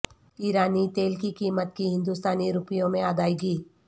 ایرانی تیل کی قیمت کی ہندوستانی روپیوں میں ادائیگی